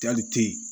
Jali te yen